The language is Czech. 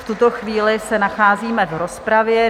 V tuto chvíli se nacházíme v rozpravě.